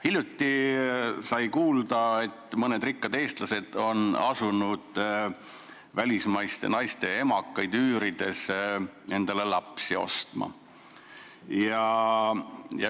Hiljuti kuulsime, et mõned rikkad eestlased on asunud välismaiste naiste emakaid üürima ja endale lapsi ostma.